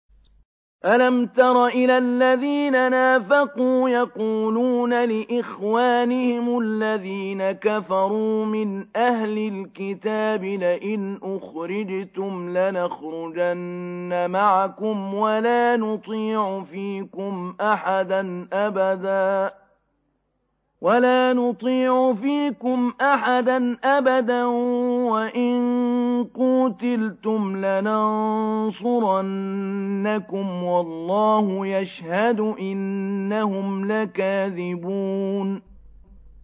۞ أَلَمْ تَرَ إِلَى الَّذِينَ نَافَقُوا يَقُولُونَ لِإِخْوَانِهِمُ الَّذِينَ كَفَرُوا مِنْ أَهْلِ الْكِتَابِ لَئِنْ أُخْرِجْتُمْ لَنَخْرُجَنَّ مَعَكُمْ وَلَا نُطِيعُ فِيكُمْ أَحَدًا أَبَدًا وَإِن قُوتِلْتُمْ لَنَنصُرَنَّكُمْ وَاللَّهُ يَشْهَدُ إِنَّهُمْ لَكَاذِبُونَ